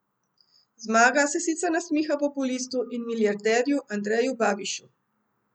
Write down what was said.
Zmaga se sicer nasmiha populistu in milijarderju Andreju Babišu.